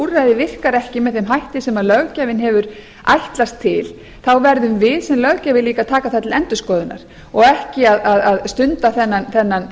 úrræði virkar ekki með þeim hætti sem löggjafinn hefur ætlast til þá verðum við sem löggjafi eiga að taka það til endurskoðunar og ekki að stunda þennan